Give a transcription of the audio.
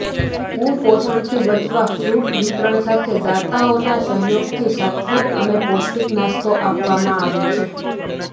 કુપોષણથી બચવા ફ્રૂટ વિતરણ સાથે દાતાઓના સહયોગથી સાત્ત્વિક અને પૌષ્ટિક નાસ્તો આપવામાં આવે છે